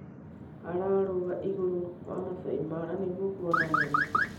Ararũga igũrũ wa Maasai Mara nĩguo kuona nyamũ.